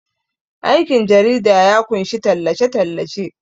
aikin jarida ya kunshi tallace- tallace